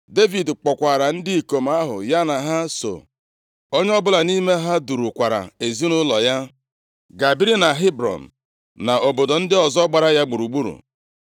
Devid kpọkwaara ndị ikom ahụ ya na ha so, onye ọbụla nʼime ha durukwaara ezinaụlọ ya, ga biri na Hebrọn na obodo ndị ọzọ gbara ya gburugburu.